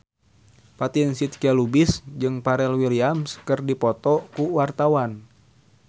Fatin Shidqia Lubis jeung Pharrell Williams keur dipoto ku wartawan